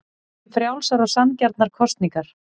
Við viljum frjálsar og sanngjarnar kosningar